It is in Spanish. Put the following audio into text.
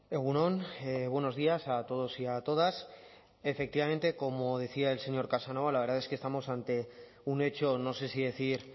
egun on buenos días a todos y a todas efectivamente como decía el señor casanova la verdad es que estamos ante un hecho no sé si decir